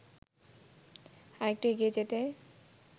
আরেকটু এগিয়ে যেতেই